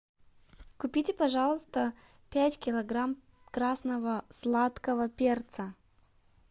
купите пожалуйста пять килограмм красного сладкого перца